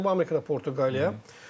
Cənubi Amerikada Portuqaliya.